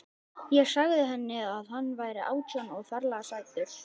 Ég sagði henni að hann væri átján og ferlega sætur.